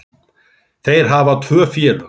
Þeir hafa tvö félög.